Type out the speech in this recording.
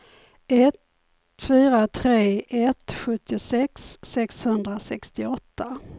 ett fyra tre ett sjuttiosex sexhundrasextioåtta